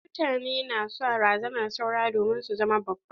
Wasu mutane na son razanar saura domin su zama babba.